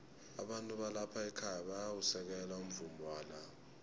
abantu balapha ekhaya bayawusekela umvumo wala